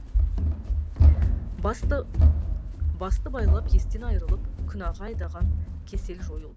басты байлап естен айырылып күнәға айдаған кесел жойылды